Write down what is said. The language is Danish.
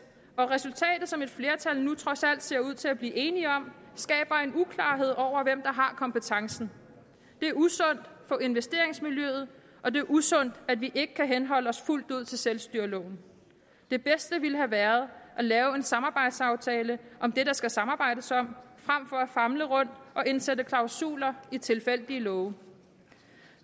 og resultatet som et flertal nu trods alt ser ud til at blive enige om skaber en uklarhed om hvem der har kompetencen det er usundt for investeringsmiljøet og det er usundt at vi ikke kan henholde os fuldt ud til selvstyreloven det bedste ville have været at lave en samarbejdsaftale om det der skal samarbejdes om frem for at famle rundt og indsætte klausuler i tilfældige love